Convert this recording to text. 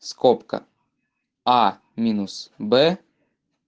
скобка а минус б